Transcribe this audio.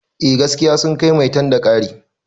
Eh gaskiya sun kai maitan da kare